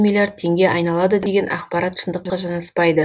миллиард теңге айналады деген ақпарат шындыққа жанаспайды